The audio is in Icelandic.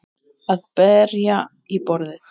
Að berja í borðið